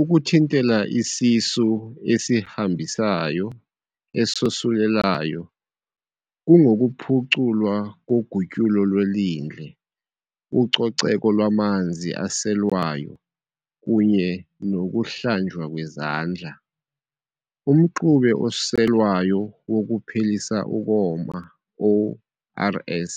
Ukuthintela isisu esihambisayo esosulelayo kungokuphuculwa kogutyulo lwelindle, ucoceko lwamanzi aselwayo, kunye nokuhlanjwa kwezandla. Umxube oselwayo wokuphelisa ukoma, ORS,